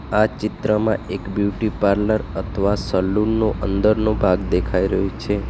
આ ચિત્રમાં એક બ્યુટી પાર્લર અથવા સલૂન નું અંદરનો ભાગ દેખાઈ રહ્યું છે.